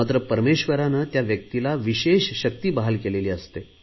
मात्र परमेश्वराने त्या व्यक्तीला विशेष शक्ती बहाल केली आहे